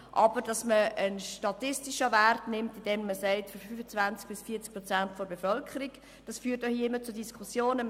Aber dass man einen statistischen Wert nimmt und 25−45 Prozent der Bevölkerung sagt, führt hier im Grossen Rat zu Diskussionen.